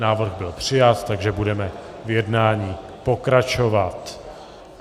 Návrh byl přijat, takže budeme v jednání pokračovat.